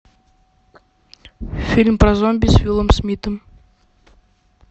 фильм про зомби с уиллом смитом